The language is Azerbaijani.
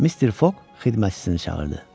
Mr. Fox xidmətçisini çağırdı.